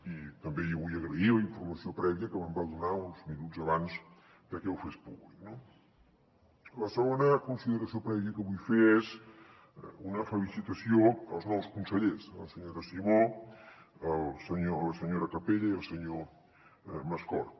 i també li vull agrair la informació prèvia que me’n va donar uns minuts abans que ho fes públic no la segona consideració prèvia que vull fer és una felicitació als nous consellers a la senyora simó a la senyora capella i al senyor mascort